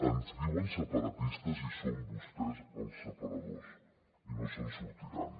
ens diuen separatistes i són vostès els separadors i no se’n sortiran